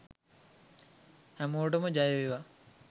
හැමෝටම ජය වේවා